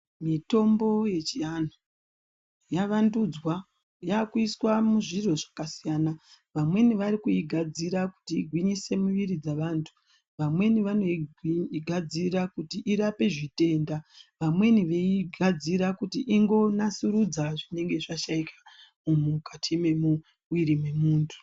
Mitombo yechiantu yavandudzwa yavakuiswa muzviro zvakasiyana, vamweni varikuigadzira kuti igwinyise miviri dzavantu, vamweni vanoigadzira kuti irape zvitenda, vamweni veiigadzira kuti ingonasurudza zvinenge zvashaikwa mukati memuviri memuntu.